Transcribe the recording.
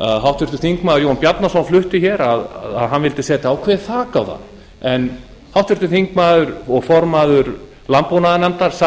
háttvirtur þingmaður jón bjarnason flutti að hann vildi setja ákveðið þak á það en háttvirtur þingmaður og formaður landbúnaðarnefndar